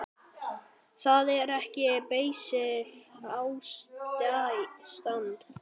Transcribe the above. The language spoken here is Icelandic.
Það er ekki beysið ástand.